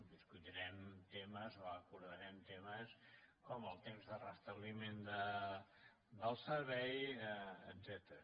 discutirem temes o acordarem temes com el temps de restabliment del servei etcètera